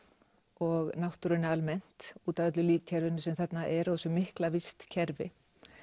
og náttúrunni almennt út af öllu lífkerfinu sem þarna er og þessu mikla vistkerfi